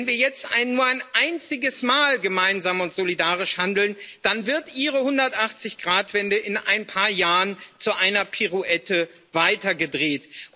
Wenn wir jetzt nur ein einziges Mal gemeinsam und solidarisch handeln, dann wird Ihre 180 Grad Wende in ein paar Jahren zu einer Pirouette weitergedreht.